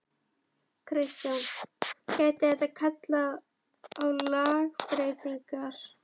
Kristján: Gæti þetta kallað á lagabreytingar?